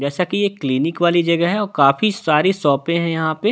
जैसा कि ये क्लीनिक वाली जगह है और काफी सारी शॉपें हैं यहां पे--